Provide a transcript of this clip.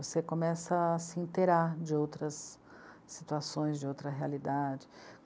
Você começa a se interar de outras situações, de outra realidade.